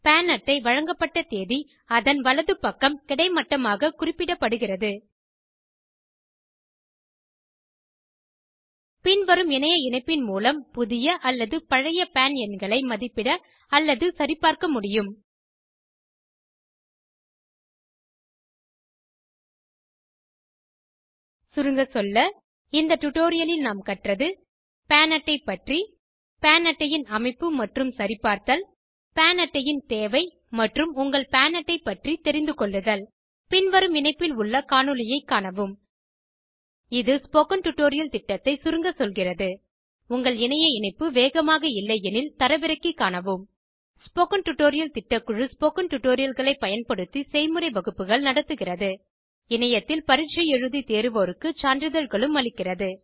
பான் அட்டை வழங்கப்பட்ட தேதி அதன் வலது பக்கம் கிடைமட்டமாக குறிப்பிடப்படுகிறது பின்வரும் இணைய இணைப்பின் மூலம் புதிய அல்லது பழைய பான் எண்களை மதிப்பிட அல்லது சரிபார்க்க முடியும் சுருங்கசொல்ல இந்த டுடோரியலில் நாம் கற்றது PAN அட்டை பற்றி PAN அட்டை ன் அமைப்பு மற்றும் சரிபார்த்தல் PAN அட்டை ன் தேவை மற்றும் உங்கள்PAN அட்டை பற்றி தெரிந்து கொள்ளுதல் பின்வரும் இணைப்பில் உள்ள காணொளியைக் காணவும் இது ஸ்போகன் டுடோரியல் திட்டத்தை சுருங்க சொல்கிறது உங்கள் இணைய இணைப்பு வேகமாக இல்லையெனில் தரவிறக்கி காணவும் ஸ்போகன் டுடோரியல் திட்டக்குழு ஸ்போகன் டுடோரியல்களை பயன்படுத்தி செய்முறை வகுப்புகள் நடத்துகிறது இணையத்தில் பரீட்சை எழுதி தேர்வோருக்கு சான்றிதழ்களும் அளிக்கிறது